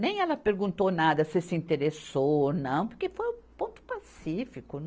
Nem ela perguntou nada se ele se interessou ou não, porque foi um ponto pacífico.